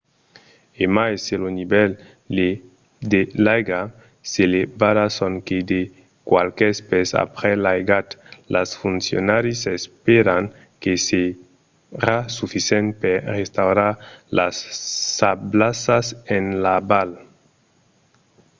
e mai se lo nivèl de l'aiga s'elevarà sonque de qualques pès aprèp l'aigat los foncionaris espèran que serà sufisent per restaurar las sablassas en aval